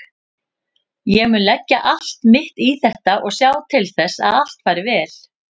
Ég mun leggja allt mitt í þetta og sjá til þess að allt fari vel.